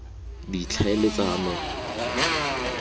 ditlhaeletsano